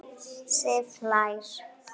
Sif hlær.